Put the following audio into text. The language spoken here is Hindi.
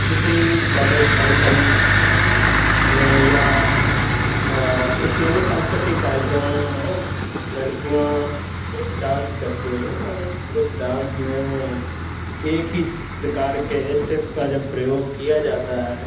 किसी कॉलेज फंक्शनस में या उम किसी अन्सांस्क्रुतिक कार्यक्रम में लडकियाॅं ग्रुप डांस करती हैं और इस ग्रुप डांस में एक ही प्रकार के स्टेप का जब प्रयोग किया जाता है।